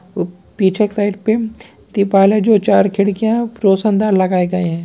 ऊ पीछे के साइड पे त्रिपाल है जो चार खिड़कियाँ हैं रोशनदान लगाए गए हैं ।